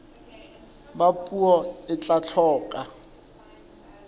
ba puo e tla hloka